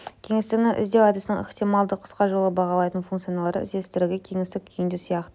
кеңістігінің іздеу әдісінің ықтималды қыска жолы бағалайтын функцияларды іздестіреді кеңістік күйінде сияқты